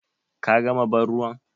Ka gama bar ruwan?